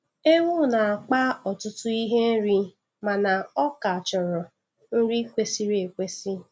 Ewu na-akpa ọtụtụ ihe nri mana ọ ka chọrọ nri kwesịrị ekwesị.